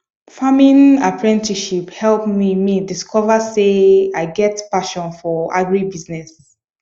farming apprenticeship help me me discover say i get passion for agribusiness